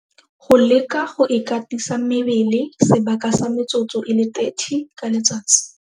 Go leka go ikatisa mebele sebaka sa metsotso e le 30 ka letsatsi.